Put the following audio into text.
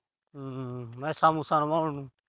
ਹੂੰ। ਮੈਸਾਂ-ਮੂਸਾਂ ਨਵਾਉਣ ਨੂੰ।